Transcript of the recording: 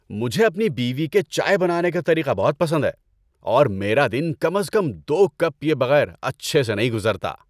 مجھے اپنی بیوی کے چائے بنانے کا طریقہ بہت پسند ہے اور میرا دن کم از کم دو کپ پیئے بغیر اچھے سے نہیں گزرتا۔